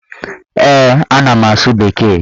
Ee, ana m asụ bekee.